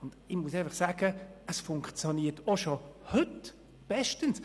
Dies funktioniert schon heute bestens.